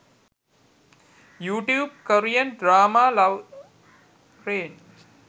you tube korean drama love rain